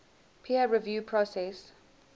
peer review process